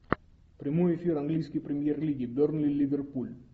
прямой эфир английской премьер лиги бернли ливерпуль